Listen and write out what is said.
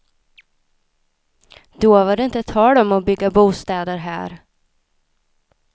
Då var det inte tal om att bygga bostäder här.